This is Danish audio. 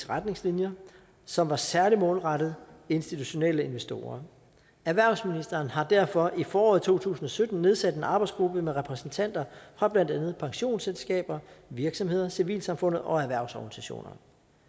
retningslinjer som var særlig målrettet institutionelle investorer erhvervsministeren har derfor i foråret to tusind og sytten nedsat en arbejdsgruppe med repræsentanter fra blandt andet pensionsselskaber virksomheder civilsamfundet og erhvervsorganisationer